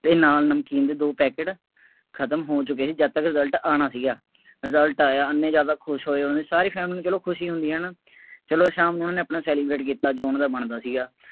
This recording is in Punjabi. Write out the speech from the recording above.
ਅਤੇ ਨਾਲ ਨਮਕੀਨ ਦੇ ਦੋ ਪੈਕਟ ਖਤਮ ਹੋ ਚੁੱਕੇ ਸੀ ਜਦ ਤੱਕ result ਆਉਣਾ ਸੀਗਾ, result ਆਂਇਆ, ਐਨੇ ਜ਼ਿਆਦਾ ਖੁਸ਼ ਹੋਏ ਉਹਨੇ, ਸਾਰੀ family ਚੱਲੋ ਖੁਸ਼ ਹੀ ਹੁੰਦੀ ਹੈ ਨਾ, ਚੱਲੋ ਸ਼ਾਮ ਨੂੰ ਉਹਨਾ ਨੇ ਆਪਣਾ celebrate ਕੀਤਾ ਜੋ ਉਹਨਾ ਦਾ ਬਣਦਾ ਸੀਗਾ।